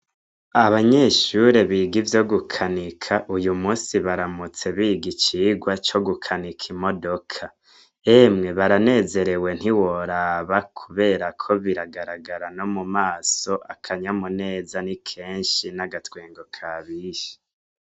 Abanyeshure biga ivyo gukanika uyumusi baramutse biga ivyo gukanika imodoka emwe baranezerewe ntiworaba kuberako biragaragara nomumaso akanyamuneza nikenshi n'agatwengo kabishe.